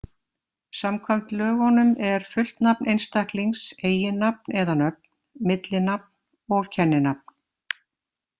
Samkvæmt lögunum er fullt nafn einstaklings eiginnafn eða-nöfn, millinafn og kenninafn.